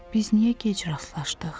Biz niyə gec rastlaşdıq?